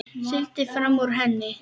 Sigldi fram úr henni.